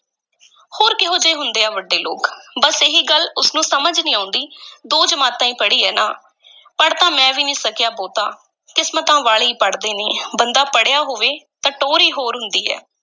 ਹੋਰ ਕਿਹੋ ਜਿਹੇ ਹੁੰਦੇ ਆ ਵੱਡੇ ਲੋਕ ਬੱਸ ਇਹੀ ਗੱਲ ਉਸ ਨੂੰ ਸਮਝ ਨਹੀਂ ਆਉਂਦੀ ਦੋ ਜਮਾਤਾਂ ਈ ਪੜ੍ਹੀ ਹੋਈ ਹੈ ਨਾ ਪੜ੍ਹ ਤਾਂ ਮੈਂ ਵੀ ਨੀ ਸਕਿਆ ਬਹੁਤਾ, ਕਿਸਮਤਾਂ ਵਾਲੇ ਈ ਪੜ੍ਹਦੇ ਨੇ, ਬੰਦਾ ਪੜ੍ਹਿਆ ਹੋਵੇ ਤਾਂ ਟੌਰ ਈ ਹੋਰ ਹੁੰਦੀ ਹੈ।